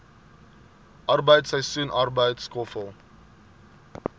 arbeid seisoensarbeid skoffel